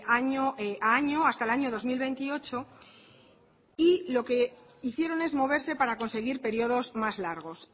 año a año hasta el año dos mil veintiocho y lo que hicieron es moverse para conseguir periodos más largos